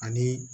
Ani